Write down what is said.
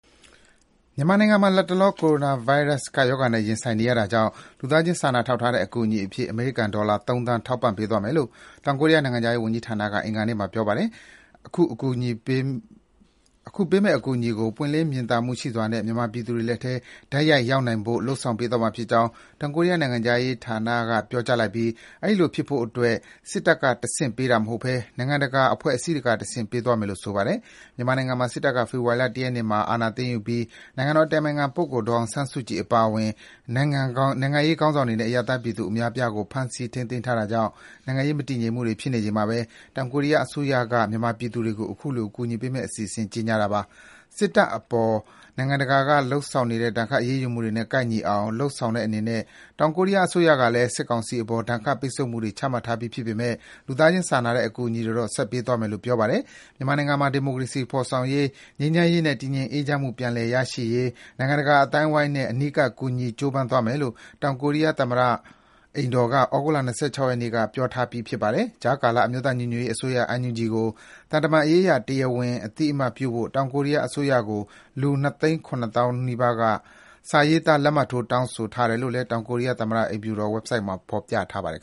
မြန်မာနိုင်ငံမှာမှာ လတ်တလော ကိုရိုနာဗိုင်းရပ်စ် ကပ်ရောဂါနဲ့ရင်ဆိုင်နေရတာကြောင့် လူသားချင်းစာနာထောက်ထားတဲ့ အကူအညီအဖြစ် အမေရိကန်ဒေါ်လာ ၃ သန်း ထောက်ပံ့ပေးသွားမယ်လို့ တောင်ကိုရီးယား နိုင်ငံခြားရေးဝန်ကြီးဌာနက အင်္ဂါနေ့မှာ ပြောပါတယ်။ အခုပေးမယ့် အကူအညီကို ပွင့်လင်းမြင်သာမှုရှိစွာနဲ့ မြန်မာပြည်သူတွေလက်ထဲ တိုက်ရိုက်ရောက်နိုင်ဖို့အတွက် လုပ်ဆောင်သွားမှာဖြစ်ကြောင်းလည်း တောင်ကိုရီးယား နိုင်ငံခြားရေးဌာနက ပြောကြားလိုက်ပြီး အဲဒီလိုဖြစ်ဖို့အတွက် စစ်တပ်ကတဆင့် ပေးတာမဟုတ်ဘဲ နိုင်ငံတကာအဖွဲ့အစည်းတွေကတဆင့် ပေးသွားမယ်လို့ ဆိုပါတယ်။ မြန်မာနိုင်ငံမှာ စစ်တပ်က ဖေဖော်ဝါရီလ ၁ ရက်နေ့မှာ အာဏာသိမ်းယူပြီး နိုင်ငံတော်အတိုင်ပင်ခံပုဂ္ဂိုလ် ဒေါ်အောင်ဆန်းစုကြည် အပါအဝင် နိုင်ငံရေးခေါင်းဆောင်တွေနဲ့ အရပ်သားပြည်သူအများအပြားကို ဖမ်းဆီး ထိန်းသိမ်းထားတာကြောင့် နိုင်ငံရေးမတည်ငြိမ်မှုတွေ ဖြစ်နေချိန်မှာဘဲ တောင်ကိုရီးယားအစိုးရက မြန်မာပြည်သူတွေအတွက် အခုလို အကူအညီပေးမယ့်အစီအစဉ်ကို ကြေညာလိုက်တာပါ။ မြန်မာစစ်တပ်အပေါ် နိုင်ငံတကာက လုပ်ဆောင်နေတဲ့ ဒဏ်ခတ် အရေးယူမှုတွေနဲ့ ကိုက်ညီအောင် လုပ်ဆောင်တဲ့အနေနဲ့ တောင်ကိုရီးယား အစိုးရကလည်း စစ်ကောင်စီအပေါ် ဒဏ်တ် ပိတ်ဆို့မှုတွေ ချမှတ်ထားပြီးဖြစ်ပေမယ့် လူသားချင်းစာနာတဲ့ အကူအညီတွေတော့ ဆက်ပေးသွားမယ်လို့ ပြောပါတယ်။ မြန်မာနိုင်ငံမှာ ဒီမိုကရေစီဖော်ဆောင်ရေး၊ ငြိမ်းချမ်းရေးနဲ့ တည်ငြိမ်အေးချမ်းမှု ပြန်လည်ရရှိရေး နိုင်ငံတကာအသိုင်းအဝိုင်းနဲ့ အနီးကပ် ကူညီ ကြိုးပမ်းသွားမယ်လို့ တောင်ကိုရီးယား သမ္မတအိမ်တော်က သြဂုတ်လ ၂၆ ရက်နေ့က ပြောထားပြီး ဖြစ်ပါတယ်။ ကြားကာလ အမျိုးသားညီညွတ်ရေး အစိုးရ NUG ကို သံတမန်ရေးအရ တရားဝင် အသိအမှတ်ပြုဖို့ တောင်ကိုရီးယားအစိုးရကို လူ ၂ သိန်း ၇ သောင်းနီးပါး စာရေးသား လက်မှတ်ထိုး တောင်းဆိုထားတယ်လို့လည်း တောင်ကိုရီးယားသမ္မတအိမ်တော် ဝက်ဘ်ဆိုဒ်မှာ ဖော်ပြထားပါတယ်